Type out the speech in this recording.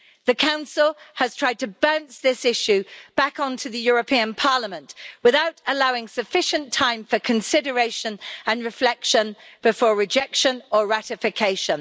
The Council has tried to bounce this issue back onto the European Parliament without allowing sufficient time for consideration and reflection before rejection or ratification.